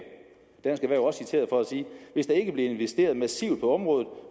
dansk erhverv er også citeret for at sige at hvis der ikke bliver investeret massivt på området